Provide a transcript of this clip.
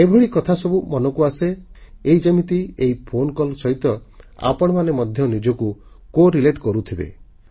ଏଭଳି କଥାସବୁ ଆସେ ଏଇ ଯେମିତି ଏହି ଫୋନ କଲ୍ ସହିତ ଆପଣମାନେ ମଧ୍ୟ ନିଜକୁ ସମ୍ବନ୍ଧିତ Corelateକରୁଥିବେ